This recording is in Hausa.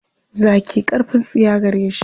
Zaki ƙarfin tsiya gare shi.